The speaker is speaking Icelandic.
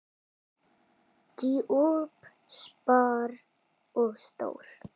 Djúp spor og stór.